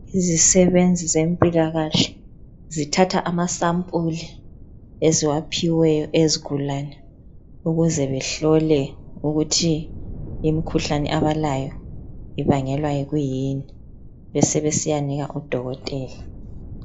Izisebenzi zempilakahle zithatha amasampuli eziwaphiweyo eyezigulane ukuze behlole ukuthi imkhuhlane abalayo ibangelwa yikuyini besebesiyanika udokotela.